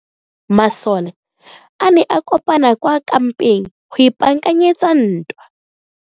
Masole a ne a kopane kwa kampeng go ipaakanyetsa ntwa.